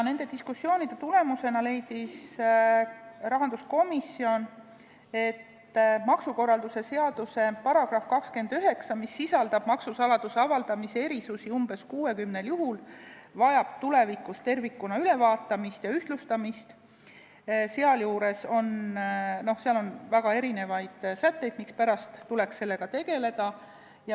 Nende diskussioonide tulemusena leidis rahanduskomisjon, et maksukorralduse seaduse § 29, mis sisaldab maksusaladuse avaldamise erisusi umbes 60 juhul, vajab tulevikus tervikuna ülevaatamist ja ühtlustamist, sealjuures on väga erinevaid sätteid, mispärast tuleks sellega tegeleda.